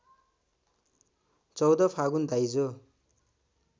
१४ फागुन दाइजो